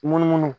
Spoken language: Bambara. Munumunu